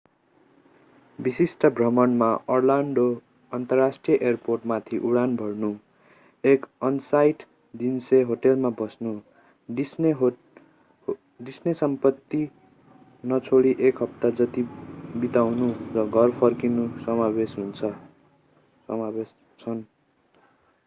विशिष्ट भ्रमणमा अर्लान्डो अन्तर्राष्ट्रिय एयरपोर्टमाथि उडान भर्नु एक अन-साइट डिस्ने होटलमा बस्नु डिस्ने सम्पत्ती नछोडि एक हप्ता जति बिताउनु र घर फर्किनु समावेश छन्